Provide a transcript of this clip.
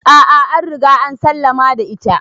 A'a an Riga an sallama da ita.